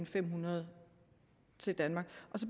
fem hundrede